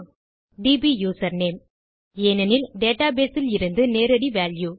DB username ஏனெனில் database இலிருந்து நேரடி வால்யூ